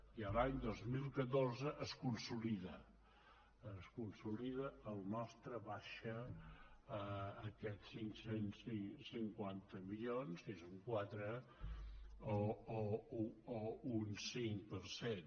i l’any dos mil catorze es consolida es consolida la nostra baixada aquests cinc cents i cinquanta milions que és un quatre o un cinc per cent